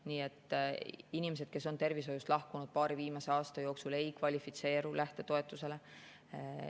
Nii et inimesed, kes on tervishoiust lahkunud paari viimase aasta jooksul, ei kvalifitseeru lähtetoetusele.